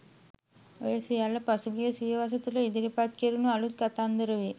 ඔය සියල්ල පසුගිය සියවස තුල ඉදිරිපත් කෙරුණු අලුත් “කතන්දර” වේ.